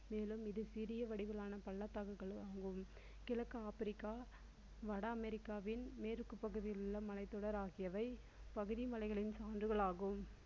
மேலும் இது சிறிய வடிவிலான பள்ளத்தாக்குகளும் ஆகும். கிழக்கு ஆப்பிரிக்கா வட அமெரிக்காவின் மேற்கு பகுதியிலுள்ள மலைத்தொடர் ஆகியவை பகுதி மலைகளின் சான்றுகள் ஆகும்.